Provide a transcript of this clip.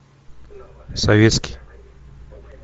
советский